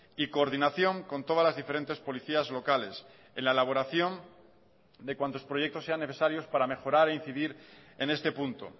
y coordinación con todas las diferentes policías locales en la elaboración de cuantos proyectos sean necesarios para mejorar e incidir en este punto